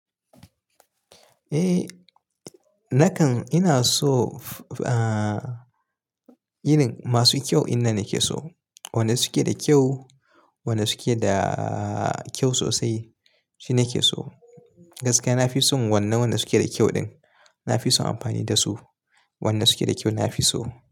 Eh, nakan ina so, ah, irin masu kyau inna nake so. Wanda suke da kyau, wanda suke da kyau sosai shi nake so. Gaskiya na fi son wannan wanda suke da kyau din. Na fi son amfani da su. Wanda suke da kyau na fi so.